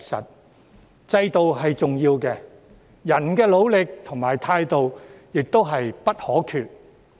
雖然制度是重要的，人的努力和態度亦不可或缺。